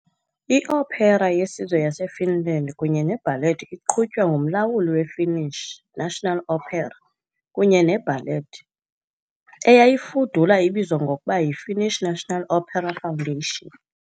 I-Opera yeSizwe yaseFinland kunye neBallet iqhutywa ngumlawuli we-Finnish National Opera kunye neBallet, eyayifudula ibizwa ngokuba yiFinnish National Opera Foundation.